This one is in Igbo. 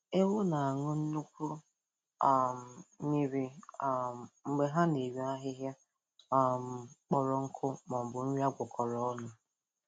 Ewu na-aṅụ nnukwu um mmiri um mgbe ha na-eri ahịhịa um kpọrọ nkụ maọbụ nri agwakọro ọnụ